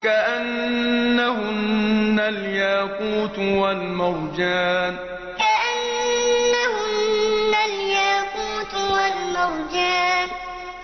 كَأَنَّهُنَّ الْيَاقُوتُ وَالْمَرْجَانُ كَأَنَّهُنَّ الْيَاقُوتُ وَالْمَرْجَانُ